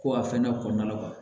Ko a fɛnɛ kɔnɔna la